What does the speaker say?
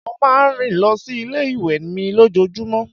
Mo máa ń rìn lọ sí ilé ìwé mi lójoojúmó.